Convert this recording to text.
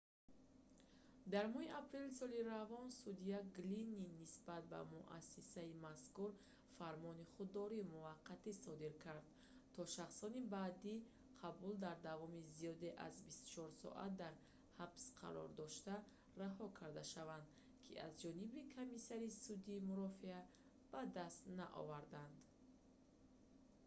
дар моҳи апрели соли равон судя глинн нисбат ба муассисаи мазкур фармони худдории муваққатӣ содир кард то шахсони баъди қабул дар давоми зиёда аз 24 соат дар ҳабс қарор дошта раҳо карда шаванд ки аз ҷониби комиссари судӣ мурофиа ба даст наоварданд